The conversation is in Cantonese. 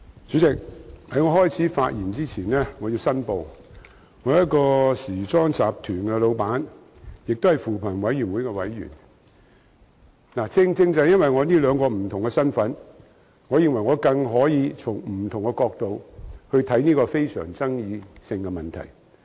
主席，我在開始發言前要申報，我是一個時裝集團的老闆，也是扶貧委員會的委員，正正因為我這兩個不同的身份，我認為我更能夠從不同角度看待這個非常富爭議性的問題。